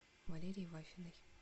валерии вафиной